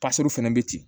fana bɛ ten